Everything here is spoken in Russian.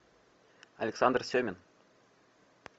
александр семин